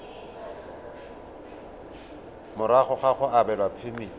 morago ga go abelwa phemiti